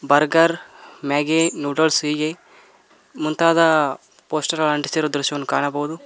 Burger Maggi noodles ಹೀಗೆ ಮುಂತಾದ poster ಗಳ ಅಂಟಿಸಿರುವ ದೃಶ್ಯವನ್ನು ಕಾಣಬಹುದು.